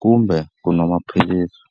kumbe ku nwa maphilisi.